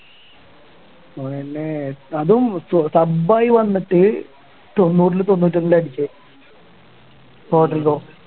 അതും sub ആയി വന്നിട്ട് തൊണ്ണൂറിലും തൊണ്ണൂറ്റൊന്നിലാ അടിച്ചേ